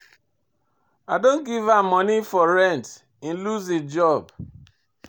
I don give am moni for rent, im loose im job.